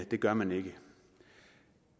det gør man ikke